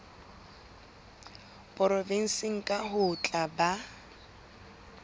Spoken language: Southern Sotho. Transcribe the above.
provenseng kang ho tla ba